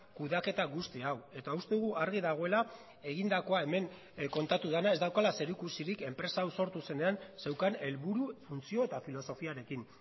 kudeaketa guzti hau eta uste dugu argi dagoela egindakoa hemen kontatu dena ez daukala zer ikusirik enpresa hau sortu zenean zeukan helburu funtzio eta filosofiarekin